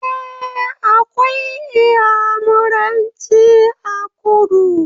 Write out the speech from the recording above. Eh, akwai iyamuranci a kudu